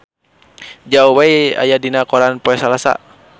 Zhao Wei aya dina koran poe Salasa